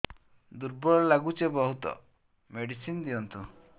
ଦୁର୍ବଳ ଲାଗୁଚି ବହୁତ ମେଡିସିନ ଦିଅନ୍ତୁ